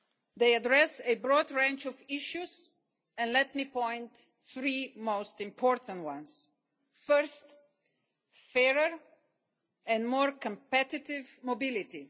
They address a broad range of issues. Let me point out three of the most important ones first, fairer and more competitive mobility